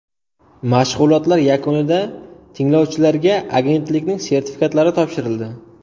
Mashg‘ulotlar yakunida tinglovchilarga agentlikning sertifikatlari topshirildi.